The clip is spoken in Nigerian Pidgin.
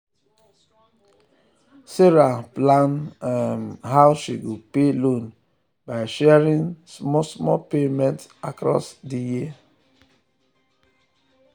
sarah plan um how she go pay loan by sharing um small small payment um across di year.